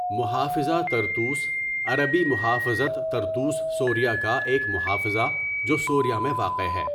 محافظہ طرطوس عربی مُحَافَظَة طَرْطُوس سوریہ کا ایک محافظہ جو سوریہ میں واقع ہے.